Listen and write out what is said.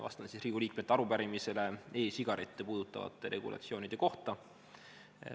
Vastan Riigikogu liikmete arupärimisele e-sigarette puudutavate regulatsioonide kohta.